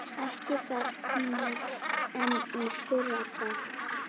Ekki fremur en fyrri daginn.